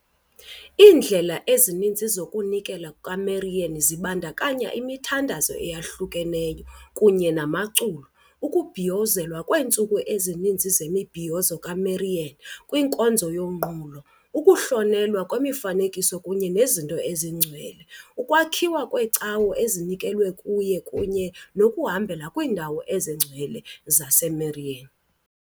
Iindlela ezininzi zokuzinikela kukaMarian zibandakanya imithandazo eyahlukahlukeneyo kunye namaculo, ukubhiyozelwa kweentsuku ezininzi zemibhiyozo kaMarian kwinkonzo yonqulo, ukuhlonelwa kwemifanekiso kunye nezinto ezingcwele, ukwakhiwa kweecawe ezinikelwe kuye kunye nokuhambela kwiindawo ezingcwele zaseMarian .